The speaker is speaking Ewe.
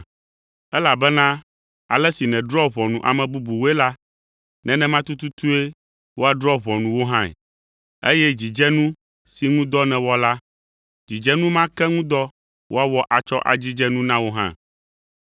elabena ale si nèdrɔ̃a ʋɔnu ame bubuwoe la, nenema tututue woadrɔ̃ ʋɔnu wò hãe, eye dzidzenu si ŋu dɔ nèwɔ la, dzidzenu ma ke ŋu dɔ woawɔ atsɔ adzidze nu na wò hã.